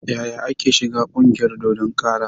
Yaya ake shiga ƙungiyar dodon kara?